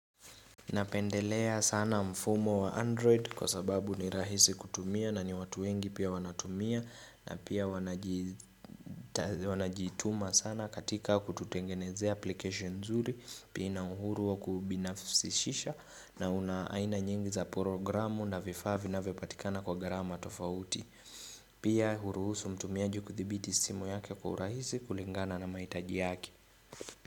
Napendelea sana mfumo wa android kwa sababu ni rahisi kutumia na ni watu wengi pia wanatumia na pia wanajituma sana katika kututengenezea application nzuri pia ina uhuru wa kubinafisishisha na una aina nyingi za programu na vifaa vinavyopatikana kwa gharama tofauti pia huruhusu mtumiaji kuthibiti simu yake kwa urahisi kulingana na maitaji yake.